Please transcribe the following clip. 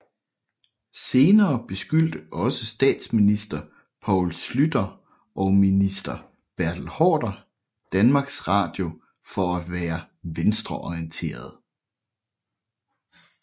Senere beskyldte også statsminister Poul Schlüter og minister Bertel Haarder Danmarks Radio for at være venstreorienteret